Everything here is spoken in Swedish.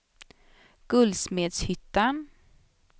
Guldsmedshyttan